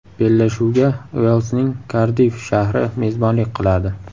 Bellashuvga Uelsning Kardiff shahri mezbonlik qiladi.